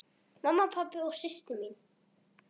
Mamma, pabbi og systir mín.